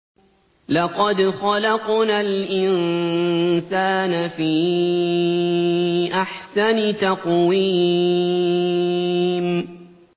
لَقَدْ خَلَقْنَا الْإِنسَانَ فِي أَحْسَنِ تَقْوِيمٍ